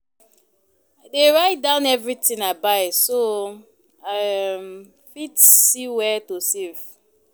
I dey write down everything I buy so I um fit see where to save.